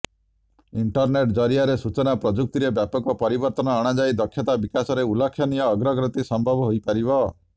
internet ଜରିଆରେ ସୂଚନା ପ୍ରଯୁକ୍ତିରେ ବ୍ୟାପକ ପରିବର୍ତ୍ତନ ଅଣାଯାଇ ଦକ୍ଷତା ବିକାଶରେ ଉଲ୍ଲେଖନୀୟ ଅଗ୍ରଗତି ସମ୍ଭବ ହୋଇପାରିବ